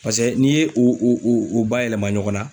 Paseke n'i ye o o o bayɛlɛma ɲɔgɔn na